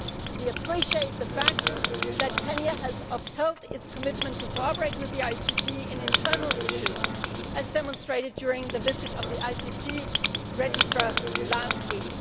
We appreciate the fact that Kenya has upheld its commitment to cooperate with the ICC on internal issues, as demonstrated during the visit of the ICC registrar last week.